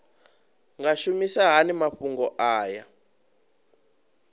nga shumisa hani mafhumgo aya